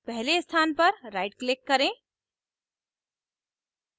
पहले स्थान पर right click करें